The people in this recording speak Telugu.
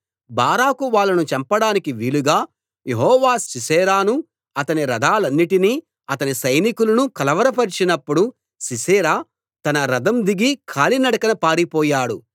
బారాకు వాళ్ళను చంపడానికి వీలుగా యెహోవా సీసెరాను అతని రథాలన్నిటినీ అతని సైనికులను కలవరపరచినప్పుడు సీసెరా తన రథం దిగి కాలినడకన పారిపోయాడు